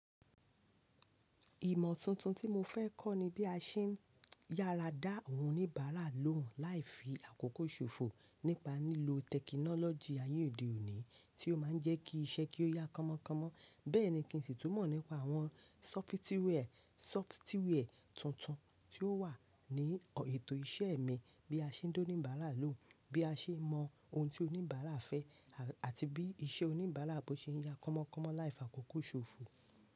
Ìmọ̀ tuntun tí mo fẹ́ kọ́ ni bí a ṣe ń yàrá dá àwọn onibabara lóhùn láì fi àkókò ṣòfò, nípa lílo tẹkinọlọgi ayé òde òní, tí ó máa ń jẹ́ iṣẹ́ kí ó yá kánmọ́kánmọ́. Bẹ́ẹ̀ ni, kí n sì tún mọ̀ nípa àwọn sọfitiwiẹ tuntun tí ó wà ní ètò iṣẹ́ mi, bí a ṣe ń dá oníbàrà lóhùn, bí a ṣe ń mọ̀ ohun tí òníbara fẹ́, àti bí iṣẹ́ oníbàrà bó ṣe ń yá kánmọ́kánmọ́ láì fi àkókò ṣòfò.